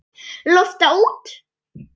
Lofta út.